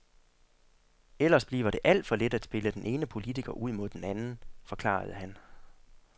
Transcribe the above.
Ellers bliver det alt for let at spille den ene politiker ud mod den anden, forklarede han.